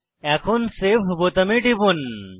এখন সেভ বোতামে টিপুন